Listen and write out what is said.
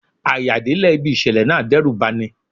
À-yà délẹ̀ ibi ìṣẹ̀lẹ̀ náà dẹ́rùbà ni.